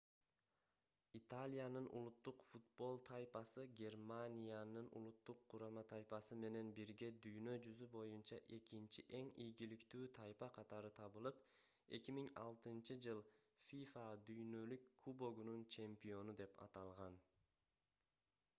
италиянын улуттук футбол тайпасы германиянын улуттук курама тайпасы менен бирге дүйнө жүзү боюнча экинчи эң ийгиликтүү тайпа катары табылып 2006-ж fifa дүйнөлүк кубогунун чемпиону деп аталган